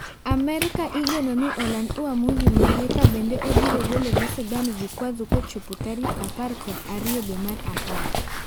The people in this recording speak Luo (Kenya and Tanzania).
Amerka igenoni oland uamuzi mare ka bende obiro golone Sudan vikwazo kachop tarik apar kod ariyo dwee mar apar.